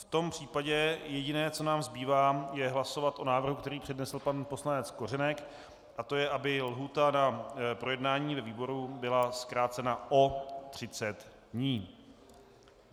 V tom případě jediné, co nám zbývá, je hlasovat o návrhu, který přednesl pan poslanec Kořenek, a to je, aby lhůta na projednání ve výboru byla zkrácena o 30 dní.